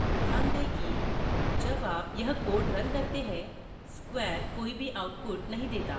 ध्यान दें कि जब आप यह code रन करते हैं square कोई भी output नहीं देता